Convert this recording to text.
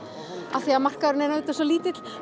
af því að markaðurinn er svo lítill